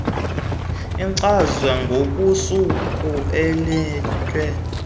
ichazwe ngokosuku eyehle